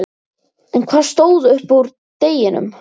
En hvað stóð upp úr deginum?